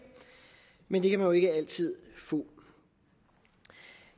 men det kan man jo ikke altid få